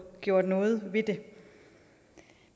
gjort noget ved det